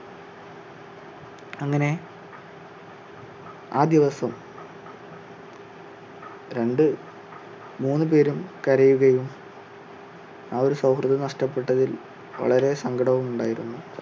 ആ ദിവസം രണ്ട് മൂന്ന് പേരും കരയുകയും ആ ഒരു സൗഹൃദം നഷ്ട്ടപ്പെട്ടതിൽ വളരെ സങ്കടവും ഉണ്ടായിരുന്നു.